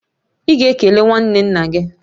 Ị ga-ekele nwanne nna gị!